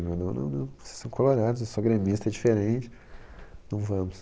Não não, não, vocês são colorados, eu sou gremista, é diferente, não vamos.